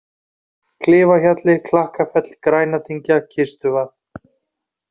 Klifahjalli, Klakkafell, Grænadyngja, Kistuvað